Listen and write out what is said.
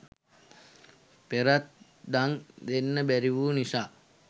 පෙරත් දන් දෙන්න බැරි වූ නිසා